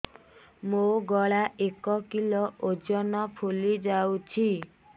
ମୋ ଗଳା ଏକ କିଲୋ ଓଜନ ଫୁଲି ଯାଉଛି